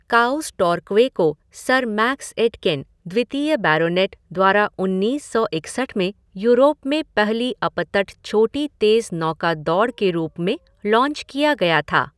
Cows Torquay को sir Max Aitken, द्वितीय baronet, द्वारा उन्नीस सौ इकसठ में यूरोप में पहली अपतट छोटी तेज़ नौका दौड़ के रूप में लॉन्च किया गया था।